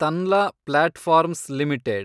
Tanla platforms limited